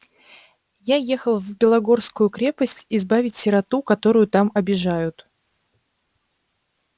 я ехал в белогорскую крепость избавить сироту которую там обижают